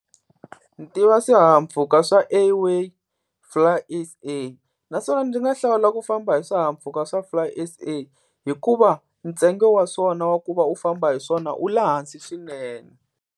Ni tiva swihahampfhuka swa Airway Fly S_A. Naswona ndzi nga hlawula ku famba hi swihahampfhuka swa Fly S_A hikuva ntsengo wa swona wa ku va u famba hi swona u le hansi swinene.